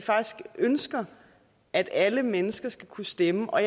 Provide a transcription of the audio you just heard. ønsker at alle mennesker skal kunne stemme og